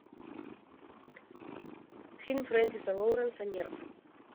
фильм френсиса лоуренса нерв